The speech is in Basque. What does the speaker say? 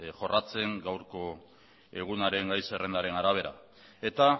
jorratzen gaurko egunaren gai zerrendaren arabera eta